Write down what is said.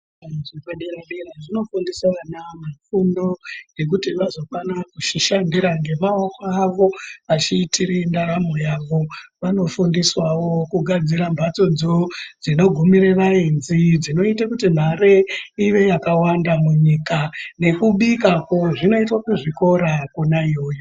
Kuzvikora zvepadera dera zvinofundisa ana fundo yekuti vazokwanisa kuzvishandira ngemaoko avo vachiitire ndaramo yavo. Vanofundiswawo kugadzira mhatsodzo dzinogumire vaenzi dzinoite kuti mare ive yakawanda munyika nekubikakwo kunoitwe kuzvikora kwona iyoyo.